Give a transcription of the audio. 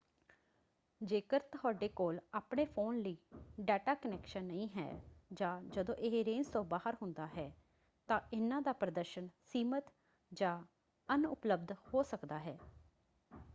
ਜੇਕਰ ਤੁਹਾਡੇ ਕੋਲ ਆਪਣੇ ਫ਼ੋਨ ਲਈ ਡੇਟਾ ਕਨੈਕਸ਼ਨ ਨਹੀਂ ਹੈ ਜਾਂ ਜਦੋਂ ਇਹ ਰੇਂਜ ਤੋਂ ਬਾਹਰ ਹੁੰਦਾ ਹੈ ਤਾਂ ਇਹਨਾਂ ਦਾ ਪ੍ਰਦਰਸ਼ਨ ਸੀਮਿਤ ਜਾਂ ਅਣਉਪਲਬਧ ਹੋ ਸਕਦਾ ਹੈ।